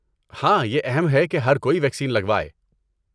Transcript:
ہاں، یہ اہم ہے کہ ہر کسی کوئی ویکسین لگوائے۔